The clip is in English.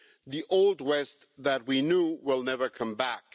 The Old West that we knew will never come back.